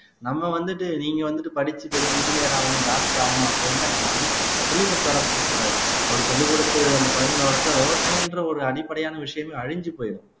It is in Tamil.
நம்ம வந்துட்டு நீங்க வந்துட்டு படிச்சு பெரிய என்ஜினீயர் ஆகணும் டாக்டர் ஆகணும் அப்படின்னு எல்லாம் யாருமே சொல்லிக்கொடுத்து வளர்க்க கூடாது அப்படி சொல்லிக் கொடுத்து அந்த குழந்தைகளை வளர்த்து விவசாயம் என்ற ஒரு அடிப்படையான விஷயமே அழிஞ்சு போயிடும்